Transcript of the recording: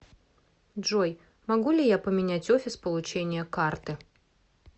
джой могу ли я поменять офис получения карты